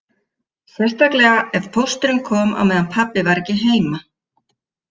Sérstaklega ef pósturinn kom á meðan pabbi var ekki heima